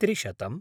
त्रिशतम्